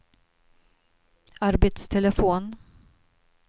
arbetstelefon